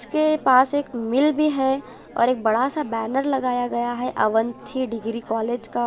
इसके पास एक मिल भी है और एक बड़ा सा बैनर लगाया गया है अवंथी डिग्री कॉलेज का --